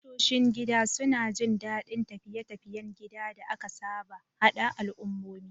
Tashoshin gida suna jin daɗin tafiye-tafiyen gida da aka saba, haɗa al'ummomi.